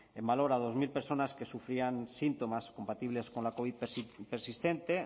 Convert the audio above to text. en valor a dos mil personas que sufrían síntomas compatibles con la covid persistente